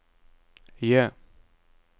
J